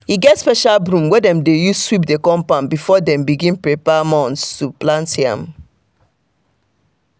e get special broom wey dem dey use sweep the compound before them begin prepare mounds to plant yam.